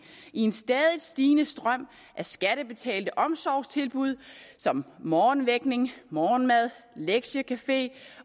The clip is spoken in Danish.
i en stadig stigende strøm af skattebetalte omsorgstilbud som morgenvækning morgenmad lektiecafé